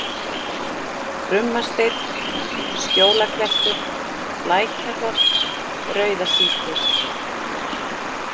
Krummasteinn, Skjólaklettur, Lækjarholt, Rauðasíki